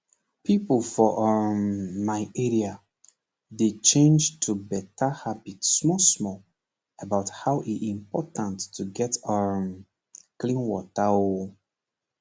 pipo for um my area dey change to better habit small small about how e important to get um clean water ooo